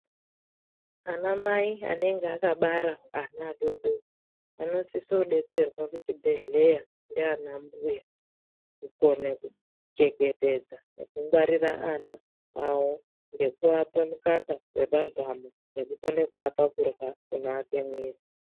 Ana mai anenge akabara ana adodori vanosise kudetserwa kuchibhendhleya ndaana mbuya kukone kuchengetedza nekungwarira ana awo ngekuapa mukaka wepazamo ngekukona kuapa chikafu chinoake muviri